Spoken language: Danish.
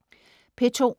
P2: